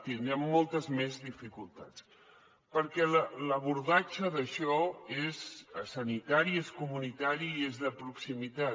tindrem moltes més dificultats perquè l’abordatge d’això és sanitari és comunitari i és de proximitat